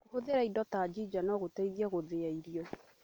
Kũhũthĩra indo ta jinja no gũteithie gũthĩya irio.